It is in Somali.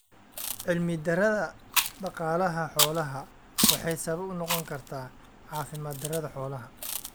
Cilmi daradha daqaalaha xolaha waxaay sabab unoqon kartaa caafimaad darada xolaha.